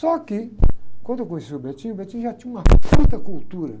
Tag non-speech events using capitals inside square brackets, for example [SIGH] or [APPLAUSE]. Só que, quando eu conheci o, [UNINTELLIGIBLE] o [UNINTELLIGIBLE] já tinha uma [UNINTELLIGIBLE] cultura.